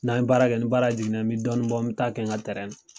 N'an baara kɛ ni baara jiginna bi dɔnnin bɔ n bi taa kɛ n ka na.